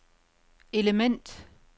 element